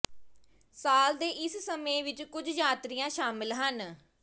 ਸਾਲ ਦੇ ਇਸ ਸਮੇਂ ਵਿੱਚ ਕੁਝ ਯਾਤਰੀਆਂ ਸ਼ਾਮਲ ਹਨ